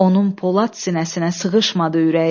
Onun Polad sinəsinə sığışmadı ürəyi.